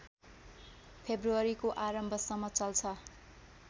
फेब्रुअरीको आरम्भसम्म चल्छ